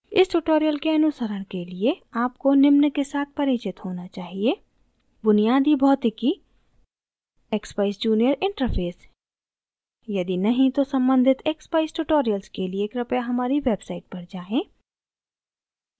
इस tutorial के अनुसरण के लिए आपको निम्न के साथ परिचित होना चाहिए: